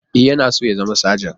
E, yana so ya zama sajan.